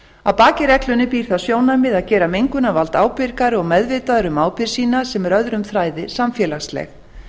að baki reglunni býr það sjónarmið að gera mengunarvald ábyrgari og meðvitaðri um ábyrgð sína sem er öðrum þræði samfélagsleg